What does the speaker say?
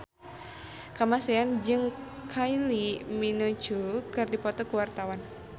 Kamasean jeung Kylie Minogue keur dipoto ku wartawan